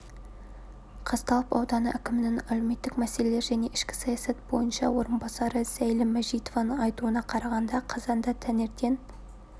қазталов ауданы әкімінің әлеуметтік мәселелер және ішкі саясат бойынша орынбасары зәйлім мәжитованың айтуына қарағанда қазанда таңертең